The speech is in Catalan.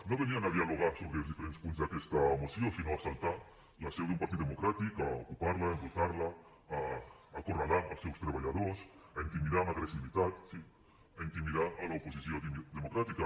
no venien a dialogar sobre els diferents punts d’aquesta moció sinó a assaltar la seu d’un partit democràtic a ocupar la a embrutar la a acorralar els seus treballadors a intimidar amb agressivitat sí a intimidar l’oposició democràtica